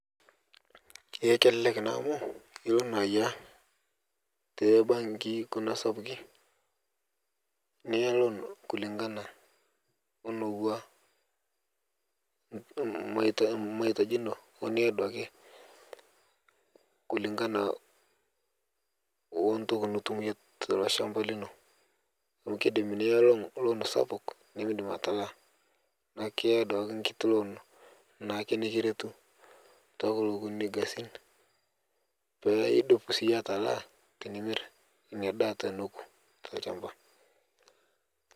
Eh kelelek naa amu ilo naa ayaia tebanki kuna sapuki niya loon kulingana oneuwa mm maita maitaji inono oniya duake kulingana ontoki nitum iyie teilo shamba lino amu keidim niya loon sapuk nimidim atalaa naaku iya duake nkiti loon naake nikiretu tokulo gasin kunini petaa idup siye atalaa tinimir inia daa teneku telchamba.